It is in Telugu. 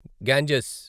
గ్యాంజెస్